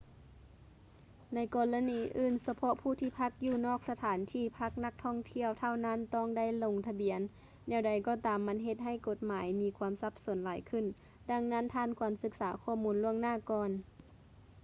ໃນກໍລະນີອື່ນ ສະເພາະຜູ້ທີ່ພັກຢູ່ນອກສະຖານທີ່ພັກນັກທ່ອງທ່ຽວເທົ່ານັ້ນຕ້ອງໄດ້ລົງທະບຽນ ແນວໃດກໍຕາມມັນເຮັດໃຫ້ກົດໝາຍມີຄວາມສັບສົນຫຼາຍຂຶ້ນ ດັ່ງນັ້ນທ່ານຄວນສຶກສາຂໍ້ມູນລ່ວງໜ້າກ່ອນ